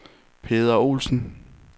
Peder Olsen